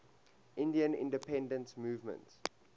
indian independence movement